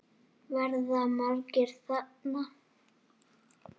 Ég bara gat það ekki.